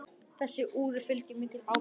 Þessu úri fylgir mikil ábyrgð.